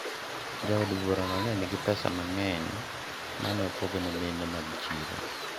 jaod bura no ne nigi pesa mang'eny mane opogo mine mag siro